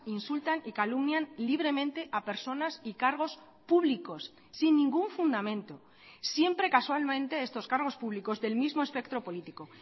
insultan y calumnian libremente a personas y cargos públicos sin ningún fundamento siempre casualmente estos cargos públicos del mismo espectro político